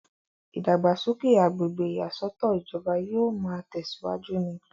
ìdàgbàsókè agbègbè ìyàsọ́tọ̀ ìjọba yóò máa tẹ̀síwájú ni